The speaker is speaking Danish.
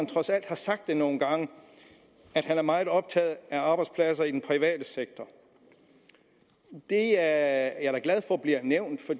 trods alt sagt nogle gange at han er meget optaget af arbejdspladser i den private sektor det er jeg da glad for bliver nævnt for